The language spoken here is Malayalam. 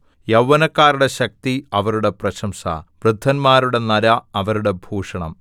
യൗവനക്കാരുടെ ശക്തി അവരുടെ പ്രശംസ വൃദ്ധന്മാരുടെ നര അവരുടെ ഭൂഷണം